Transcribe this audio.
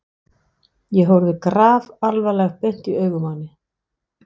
Ég horfði grafalvarleg beint í augun á henni.